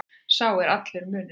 Sá er allur munurinn.